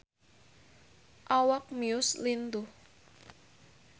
Awak Muse lintuh